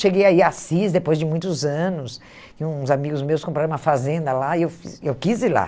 Cheguei a ir a Assis depois de muitos anos, e uns amigos meus compraram uma fazenda lá e eu eu quis ir lá.